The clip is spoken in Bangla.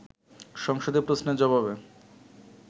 সংসদে প্রশ্নের জবাবে